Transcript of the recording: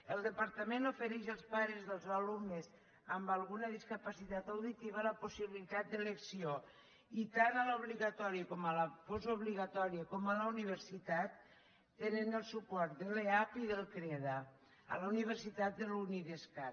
el departament ofereix als pares dels alumnes amb alguna discapacitat auditiva la possibilitat d’elecció i tant a l’obligatòria com a la postobligatòria com a la universitat tenen el suport de l’eap i del creda a la universitat de la unidiscat